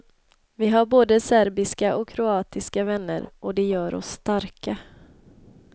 Vi har både serbiska och kroatiska vänner, och det gör oss starka.